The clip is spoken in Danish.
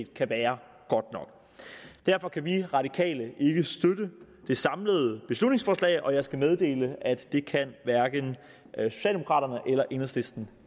kan være godt nok derfor kan vi radikale ikke støtte det samlede beslutningsforslag og jeg skal meddele at det kan socialdemokraterne og enhedslisten